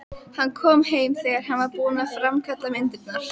Hann kom heim þegar hann var búinn að framkalla myndirnar.